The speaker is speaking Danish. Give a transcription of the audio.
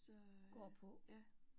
Så øh ja